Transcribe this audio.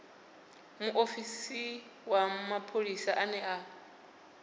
muofisi wa mapholisa ane a